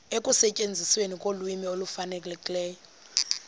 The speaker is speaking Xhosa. ekusetyenzisweni kolwimi olufanelekileyo